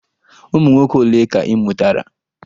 Ụmụnwoke ole ka ị mụtara?